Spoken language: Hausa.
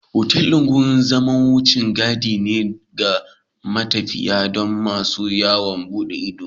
Otal ɗin wurin zama na wucin gadi ne ga matafiya da masu yawon bude ido